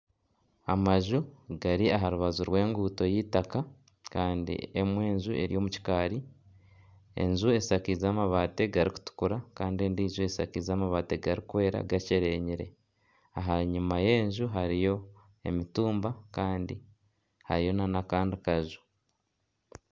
Amaju gari aha rubaju rw'enguuto y'eitaaka kandi emwe enju eri omu kikaari, enju eshakize amabaati garikutukura kandi endiijo eshakize amabaati garikwera gakyerenyire aha nyuma y'enju hariyo emitumba kandi hariyo na n'akandi kaju.